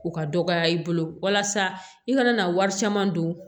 U ka dɔgɔya i bolo walasa i kana na wari caman don